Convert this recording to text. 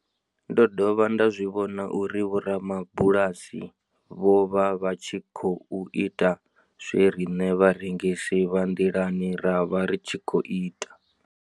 Ndo dovha nda zwi vhona uri vhorabulasi vho vha vha tshi khou ita zwe riṋe vharengisi vha nḓilani ra vha ri tshi khou ita.